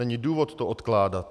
Není důvod to odkládat.